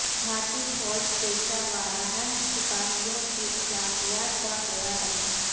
بھارتی فوج پیشہ وارانہ سپاہیوں کی اخلاقیات کا خیال رکھے